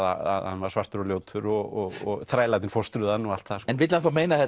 að hann var svartur og ljótur og þrælarnir fóstruðu hann og allt það en vill hann þá meina að